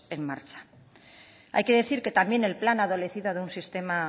en marcha hay que decir que también el plan adolecido de un sistema